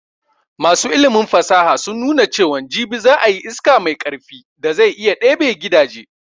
Masu ilimin fasaha sun nuna cewan jibi za ayi iska mai karfi da zai iya ɗebe gidaje